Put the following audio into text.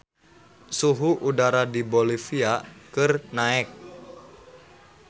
Suhu udara di Bolivia keur naek